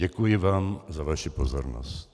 Děkuji vám za vaši pozornost.